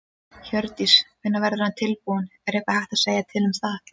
Hjördís: Hvenær verður hann tilbúinn, er eitthvað hægt að segja til um það?